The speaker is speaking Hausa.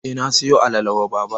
Eh, na siyo alala wa baba.